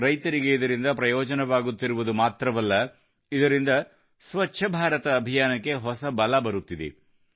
ರೈತರಿಗೆ ಇದರಿಂದ ಪ್ರಯೋಜನವಾಗುತ್ತಿರುವುದು ಮಾತ್ರವಲ್ಲ ಇದರಿಂದ ಸ್ವಚ್ಛ ಭಾರತ ಅಭಿಯಾನಕ್ಕೆ ಹೊಸ ಬಲ ಬರುತ್ತಿದೆ